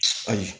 Ayi